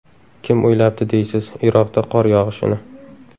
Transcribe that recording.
Kim o‘ylabdi deysiz, Iroqda qor yog‘ishini!